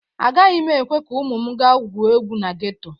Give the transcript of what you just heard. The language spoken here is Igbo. Agaghị m ekwe ka ụmụ m gáá gwuo egwu na geto.